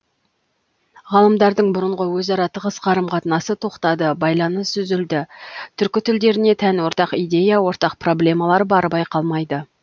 ғалымдардың бұрынғы өзара тығыз қарым қатынасы тоқтады байланыс үзілді түркі тілдеріне тән ортақ идея ортақ проблемалар бары байқалмайды